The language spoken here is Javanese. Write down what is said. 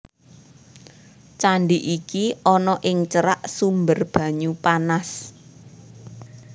Candi iki ana ing cerak sumber banyu panas